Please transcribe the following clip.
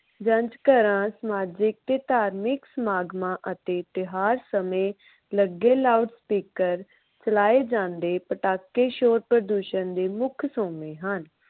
ਜੰਝ ਘਰਾਂ, ਸਮਾਜਿਕ ਤੇ ਧਾਰਮਿਕ ਸਮਾਗਮਾਂ ਅਤੇ ਇਤਿਹਾਸ ਸਮੇਂ ਲੱਗੇ ਲਾਊਡ ਸਪੀਕਰ ਚਲਾਏ ਜਾਂਦੇ ਪਟਾਕੇ ਸ਼ੋਰ ਪ੍ਰਦੂਸ਼ਣ ਦੇ ਮੁੱਖ ਸੋਮੇ ਹਨ।